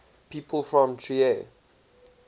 people from trier